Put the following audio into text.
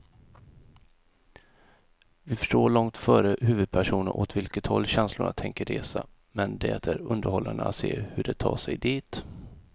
Vi förstår långt före huvudpersonerna åt vilket håll känslorna tänker resa, men det är underhållande att se hur de tar sig dit.